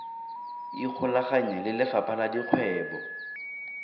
ikgolaganye le lefapha la dikgwebo